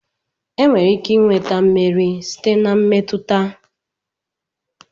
enwere ike nweta mmeri site na mmetụta